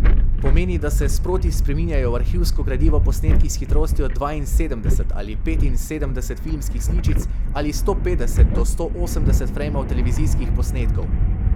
Pomeni, da se sproti spreminjajo v arhivsko gradivo posnetki s hitrostjo dvainsedemdeset ali petinsedemdeset filmskih sličic ali sto petdeset do sto osemdeset frejmov televizijskih posnetkov.